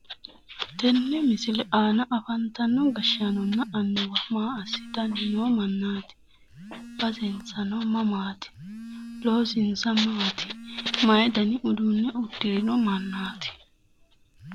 Tenne misile aana afantanno gashshaanonna annuwa maa assitanni noo mannaati? basensano mamaati? loosinsa maati? mayi dani uduunne uddirino mannaati?